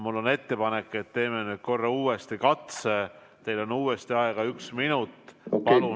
Mul on ettepanek, et teeme uue katse, teil on uuesti aega üks minut.